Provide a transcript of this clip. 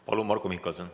Palun, Marko Mihkelson!